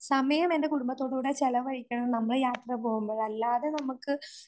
സമയം എൻറെ കുടുംബത്തോടുകൂടെ ചെലവഴിക്കണം നമ്മൾ യാത്ര പോകുമ്പോ അല്ലാതെ നമുക്ക്